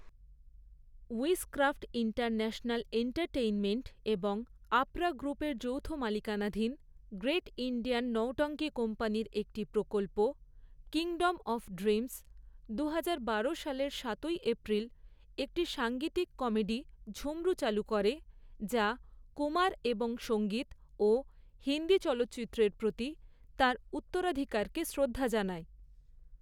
Wizcraft international entertainment এবং আপরা গ্রুপের যৌথ মালিকানাধীন গ্রেট ইণ্ডিয়ান নৌটঙ্কি কোম্পানির একটি প্রকল্প 'কিংডম অফ ড্রিমস', দুহাজার বারো সালের সাতই এপ্রিল একটি সাঙ্গীতিক কমেডি ঝুম্রু চালু করে যা কুমার এবং সঙ্গীত ও হিন্দি চলচ্চিত্রের প্রতি তাঁর উত্তরাধিকারকে শ্রদ্ধা জানায়।